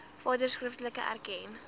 vader skriftelik erken